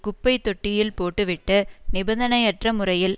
குப்பை தொட்டியில் போட்டுவிட்டு நிபந்தனையற்ற முறையில்